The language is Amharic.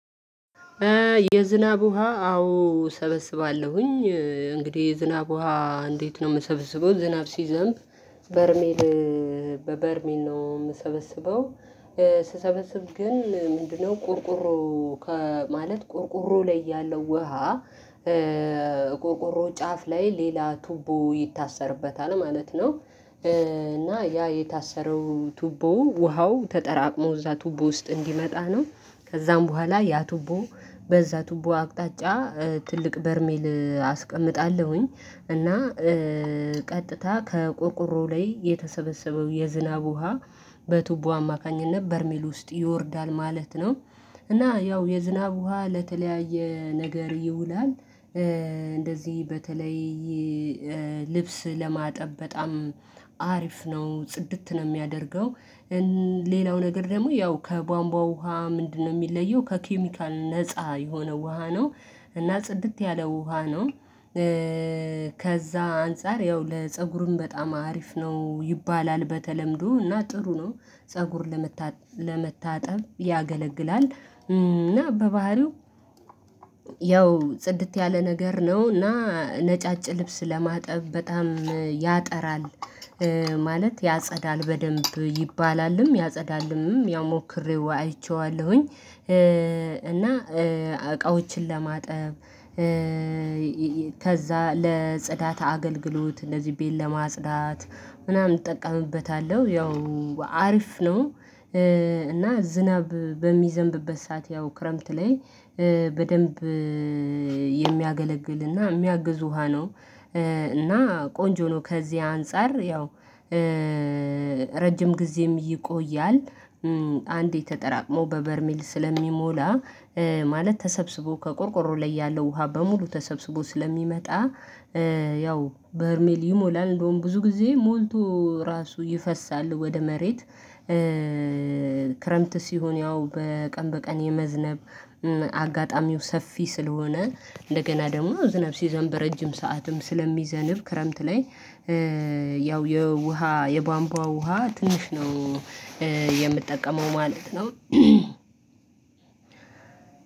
የዝናብ ውሃ አዎ እሰበስባለሁኝ እንግዲህ የዝናብ ውሃ እንዴት ነው? እምሰብስበው ዝናብ ሲዘንብ በርሜል በበርሜል ነው እምሰበስበው። ስሰበስብ ግን ምንድነውቁርቁሮ ከማለት ቁርቁሮ ላይ ያለው ውሃ ቁርቁሮ ጫፍ ላይ ሌላ ቱቦ ይታሰርበታል ማለት ነው። እና ያ የታሰረው ቱቦ ውሃው ተጠራቅሞ እዛ ቱቦ ውስጥ እንዲመጣ ነው ከዛም በኋላ ያ ቱቦ በዛ ቱቦ አቅጣጫ ትልቅ በርሜል አስቀምጣለሁኝ እና ቀጥታ ከቆርቆሮው ላይ የተሰበሰበው የዝናብ ውሃ በቱቦ አማካኝነት በርሜል ውስጥ ይወርዳል ማለት ነው። እና ያው የዝናብ ውሃ ለተለያየ ነገር ይውላል። እንደዚህ በተለይ ልብስ ለማጠብ በጣም ቁርቁሮ ጫፍ ላይ ሌላ ቱቦ ይታሰርበታል ማለት ነው። እና ያ የታሰረው ቱቦው ውሃው ተጠራቅሞ እዛ ቱቦ ውስጥ እንዲመጣ ነው ከዛም በኋላ ያ ቱቦ በዛ ቱቦ አቅጣጫ ትልቅ በርሜል አስቀምጣለሁኝ እና ከዛ አንፃር ያው ለፀጉሩም በጣም አሪፍ ነው ይባላል በተለምዶ እና ጥሩ ነው። ፀጉር ለመታጠብ ያገለግላል እና በባህሪው ያው ጽድት ያለ ነገር ነው እና ነጫጭ ልብስ ለማጠብ በጣም ያጠራል ማለት ያጸዳል በደንብ ይባላልም ያጸዳልምም ያው ሞክሬው አይቼዋለሁኝ። እና እቃዎችን ለማጠብ ከዛ ለጽዳት አገልግሎት እንደዚህ ቤት ለማጽዳት ምናምን እጠቀምበታለሁ ያው አርፍ ነው። እና ዝናብ በሚዘንብበት ሰዓት ያው ክረምት ላይ በደንብ የሚያገለግልና የሚያግዙ ውሃ ነው። እና ቆንጆ ነው ከዚህ አንፃር ያው ረጅም ጊዜም ይቆያል። አንዴ ተጠራቅሞ በበርሚል ስለሚሞላ ማለት ተሰብስቦ ከቆርቆሮ ላይ ያለው ውሃ በሙሉ ተሰብስቦ ስለሚመጣ ያው በርሜል ይሞላል እንደውም ብዙ ጊዜ ሞልቶ ራሱ ይፈሳል ወደ መሬት። ክረምት ሲሆን ያው በቀን በቀን የመዝነብ አጋጣሚው ሰፊ ስለሆነ እንደገና ደግሞ ዝነብ ሲዘም በረጅም ሰዓትም ስለሚዘንብ ክረምት ላይ ያው የውሃ የባንቧ ውሃ ትንሽ ነው። የምትጠቀመው ማለት ነው።